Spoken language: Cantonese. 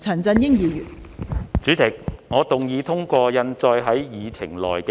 代理主席，我動議通過印載於議程內的議案。